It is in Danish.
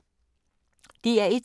DR1